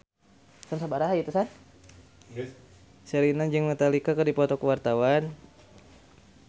Sherina jeung Metallica keur dipoto ku wartawan